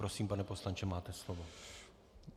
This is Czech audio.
Prosím, pane poslanče, máte slovo.